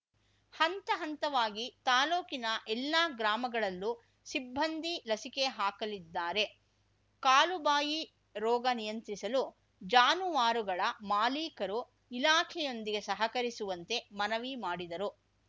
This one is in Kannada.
ಹಂತ ಹಂತವಾಗಿ ತಾಲೂಕಿನ ಎಲ್ಲ ಗ್ರಾಮಗಳಲ್ಲೂ ಸಿಬ್ಬಂದಿ ಲಸಿಕೆ ಹಾಕಲಿದ್ದಾರೆ ಕಾಲುಬಾಯಿ ರೋಗ ನಿಯಂತ್ರಿಸಲು ಜಾನುವಾರುಗಳ ಮಾಲೀಕರು ಇಲಾಖೆಯೊಂದಿಗೆ ಸಹಕರಿಸುವಂತೆ ಮನವಿ ಮಾಡಿದರು